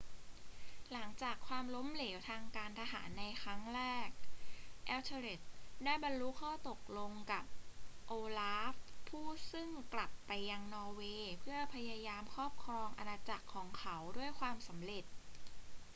หลังจากความล้มเหลวทางการทหารในครั้งแรก ethelred ได้บรรลุข้อตกลงกับ olaf ผู้ซึ่งกลับไปยังนอร์เวย์เพื่อพยายามครอบครองอาณาจักรของเขาด้วยความสำเร็จ